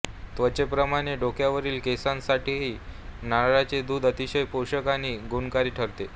त्वचेप्रमाणे डोक्यावरील केसांसाठीही नारळाचे दूध अतिशय पोषक आणि गुणकारी ठरते